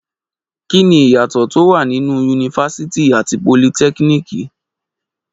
Kí ni ìyàtọ̀ tó wà nínú yunifásítì àti politẹ́kíníìkì?